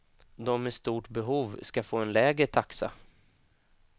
De med stort behov ska få en lägre taxa.